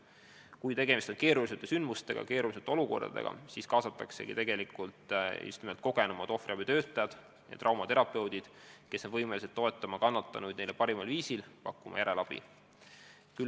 Kui tegemist on keeruliste sündmustega, keeruliste olukordadega, siis kaasataksegi just nimelt kogenumad ohvriabitöötajad ja traumaterapeudid, kes on võimelised toetama kannatanuid neile parimal viisil, pakkuma ka järelabi.